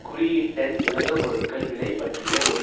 குறியீட்டெண் உலக பொருட்கள் விலை பற்றிய ஒரு